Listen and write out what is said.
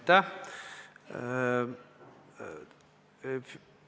Aitäh!